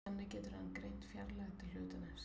þannig getur hann greint fjarlægð til hlutarins